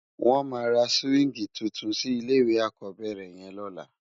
Wòn má rá siwingi túntún si ilé iwé ákòbèrè yèn lòlá